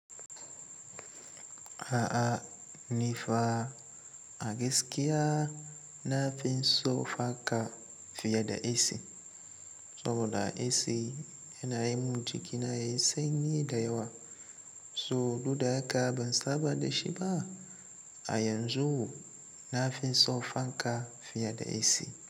A'a ni fa a gaskiya na fi son fanka fiye da AC. Saboda AC yana yi mun jikina yayi sanyi da yawa, so duk da haka ban saba da shi ba. A yanzu na fi son fanka fiye da AC.